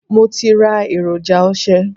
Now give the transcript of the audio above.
Mo ti ra èròjà ose.